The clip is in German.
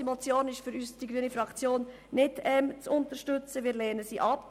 Die Motion ist aus Sicht der Grünen nicht zu unterstützen, wir lehnen diese ab.